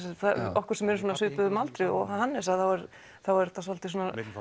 okkur sem eru á svipuðum aldri og Hannes þá er þetta svolítil